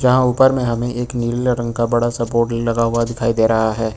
यहां ऊपर में हमें एक नीला रंग का बड़ा सा बोर्ड लगा हुआ दिखाई दे रहा है।